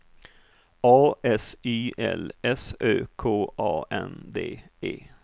A S Y L S Ö K A N D E